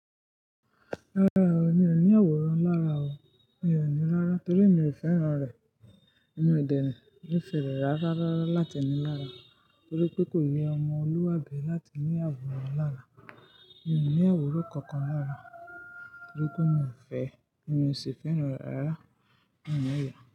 Rárá o, mi ò ní àwòrán lára o. Mi ò ní rárá torí emi ò fẹ́ran rẹ̀. Ẹ̀mi o dè nife re rárá láti ní lára torí pé kò yẹ ọmọ Olúwàbí láti ní àwòrán lára. Mi ò ní àwòrán kankan lára torí pé mi ò fẹ́, mi ò sì fẹ́ran rẹ̀ rárá. Òun ò yà.